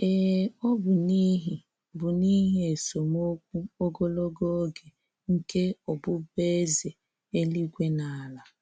Ee, ọ bụ n'ihi bụ n'ihi esemokwu ogologo oge nke ọbụbụeze eluigwe na ala.